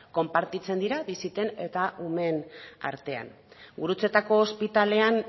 konpartitzen dira bisiten eta umeen artean gurutzetako ospitalean